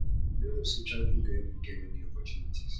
you no know say traveling go help you get many opportunities